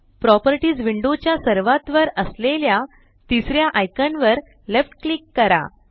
properties window च्या सर्वात वर असलेल्या तिसऱ्या आइकान वर लेफ्ट क्लिक करा